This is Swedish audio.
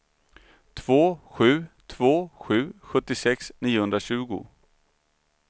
två sju två sju sjuttiosex niohundratjugo